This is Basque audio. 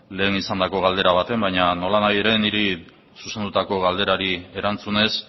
lehen izandako galdera batean baina nolanahi ere niri zuzendutako galderari erantzunez